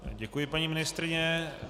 Děkuji, paní ministryně.